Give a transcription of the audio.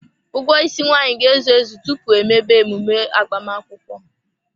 Ụgwọ isi nwaanyị ga-ezu ezu tupu emebe emume agbamakwụkwọ.